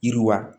Yiriwa